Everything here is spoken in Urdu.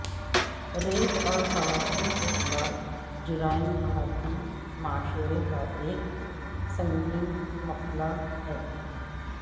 ریپ اور خواتین کے خلاف جرائم بھارتی معاشرے کا ایک سنگین مسئلہ ہے